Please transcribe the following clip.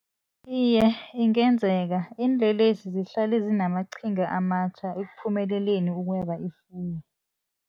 Iye ingenzeka iinlelesi zihlale zinamaqhinga amatjha ekuphumeleleni ukweba ifuyo.